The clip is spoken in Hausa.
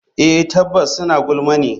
Eh tabbas suna gulma ne.